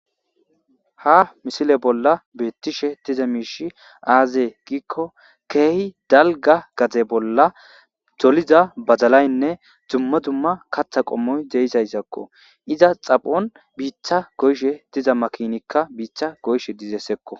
ha misile bolla beettishe diza miishi aazee giikko keehi dalga gaze bolla doliza bazalaynne dumma dumma katha qommoy deizayzakko iza xaphon biitha goyshe diza makinikka biitha goyshe dizessekko